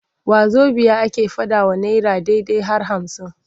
Wazobiya ake faɗawa naira ɗai-ɗai har hamsin.